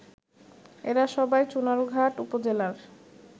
এরা সবাই চুনারুঘাট উপজেলার